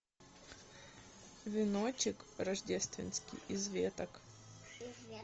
веночек рождественский из веток